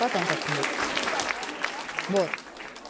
потом как-нибудь вот